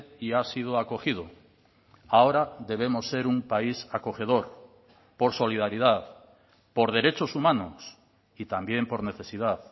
y ha sido acogido ahora debemos ser un país acogedor por solidaridad por derechos humanos y también por necesidad